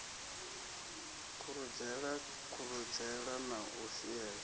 khuredzela khuredzela na u swiela